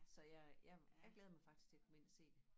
Så jeg jeg jeg glæder mig faktisk til at komme ind og se det